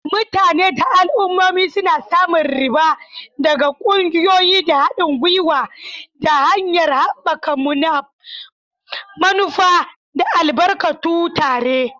Mutane da al'ummomi suna samun riba daga ƙungiyoyi da haɗin gwiwa ta hanyar haɓaka manufa da albarkatu tare.